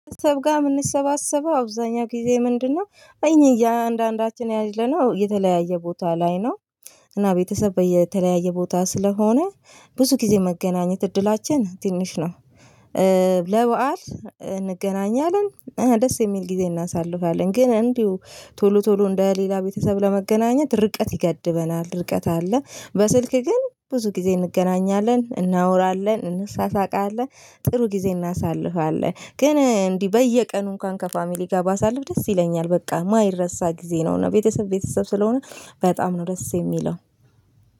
ቤተሰብ ጋ የምንሰባሰበ አብዛኛው ጊዜ ምንድነው? እኛ እያንዳንዳችን ያለነው የተለያየ ቦታ ላይ ነው። እና ቤተሰብ በተለያየ ቦታ ስለሆነ ብዙ ጊዜ መገናኘት እድላችን ትንሽ ነው። ለበአል እንገናኛለን ደስ የሚል ጊዜ እናሳልፋለን ግን እንዲሁ ቶሎ ቶሎ እንደ ሌላ ቤተሰብ ለመገናኘት ርቀት ይገድበናል። ርቀት አለ። በስልክ ግን ብዙ ጊዜ እንገናኛለን እናወራለን እንሳሳቃለን ጥሩ ጊዜ እናሳልፋለን። ግን እንዲህ በየቀኑ እንኳን ከፋሚሊ ጋር ባሳልፍ ደስ ይለኛል። በቃ የማይረሳ ጊዜ ነው። እና ቤተሰብ ቤተሰብ ስለሆነ በጣም ነው ደስ። የሚለው